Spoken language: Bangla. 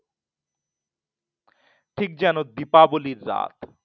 ঠিক যেন দীপাবলীর রাত